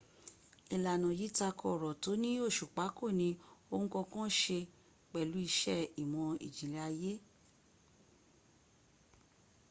ìlànà yìí tako ọ̀rọ̀ tó ní òsùpá kò ní ohun kankan se pẹ̀lú iṣẹ ìmọ̀́ ìjìnlẹ̀ ayé